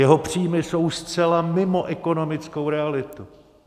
Jeho příjmy jsou zcela mimo ekonomickou realitu.